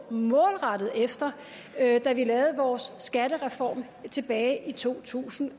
målrettet efter da vi lavede vores skattereform tilbage i to tusind og